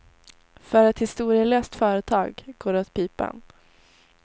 För ett historielöst företag går det åt pipan.